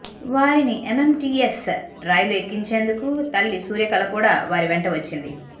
వారిని ఎంఎంటీఎస్ రైలు ఎక్కించేందుకు తల్లి సూర్యకళ కూడా వారి వెంట వచ్చింది